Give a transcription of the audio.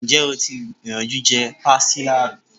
Ǹjẹ́ o ti gbìyànjú je Pastilla rí?